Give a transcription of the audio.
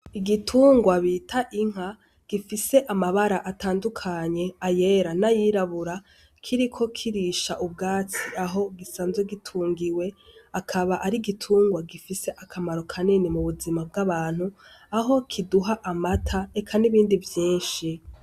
Ibitungwa bita inka gifise amabara atandukanye, ayera n'ayirabura, kiriko kirisha ubwatsi aho gisanzwe gitungiwe, akaba ari igitungwa gifise akamaro kanini mu buzima bw'abantu, aho kiduha amata, eka n'ibindi vyinshi.